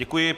Děkuji.